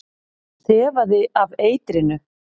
Þefaði af eitrinu.